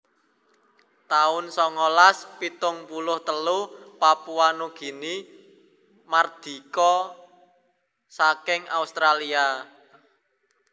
taun songolas pitung puluh telu Papua Nugini mardika saking Australia